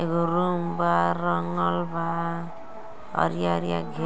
एगो रूम बा रंगल बा अरिया-अरिया घेरल --